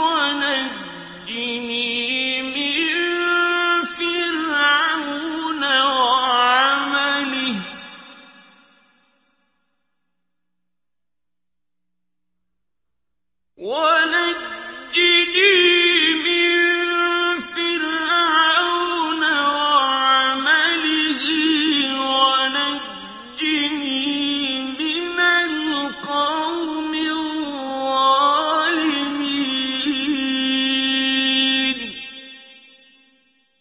وَنَجِّنِي مِن فِرْعَوْنَ وَعَمَلِهِ وَنَجِّنِي مِنَ الْقَوْمِ الظَّالِمِينَ